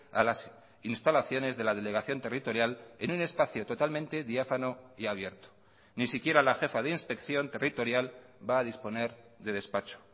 a las instalaciones de la delegación territorial en un espacio totalmente diáfano y abierto ni siquiera la jefa de inspección territorial va a disponer de despacho